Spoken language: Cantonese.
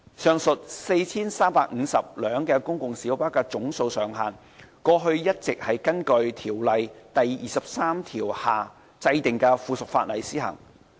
上述 4,350 輛公共小巴的總數上限，過去一直根據《條例》第23條下制定的附屬法例施行。